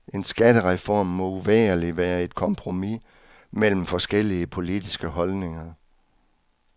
En skattereform må uvægerlig være et kompromis mellem forskellige politiske holdninger.